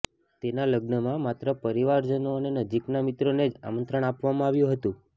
તેના લગ્નમાં માત્ર પરિવારજનો અને નજીકના મિત્રોને જ આમંત્રણ આપવામાં આવ્યું હતું